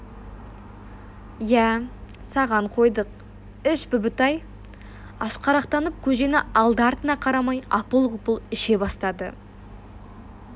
иә саған қойдық іш бүбітай ашқарақтанып көжені алды-артына қарамай апыл-ғұпыл іше бастады